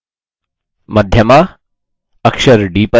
मध्यमा अक्षर d पर हो